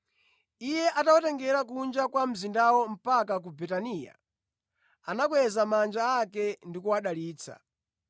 Iye atawatengera kunja kwa mzindawo mpaka ku Betaniya, anakweza manja ake ndi kuwadalitsa.